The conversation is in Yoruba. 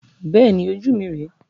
Bẹ́ẹ̀ni, ojú mi rẹ.